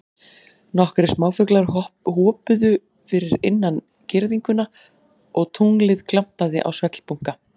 Nokkrir smáfuglar hoppuðu fyrir innan girðinguna og tunglið glampaði á svellbunka.